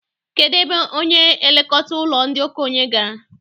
Kedụ ebe onye na-elekọta ụlọ ndị okenye gara?